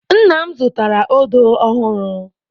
Nna m zụtara odo ọhụrụ.